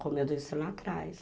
como eu disse lá atrás.